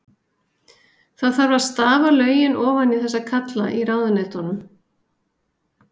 Það þarf að stafa lögin ofan í þessa kalla í ráðuneytunum.